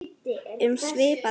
Um svipað efni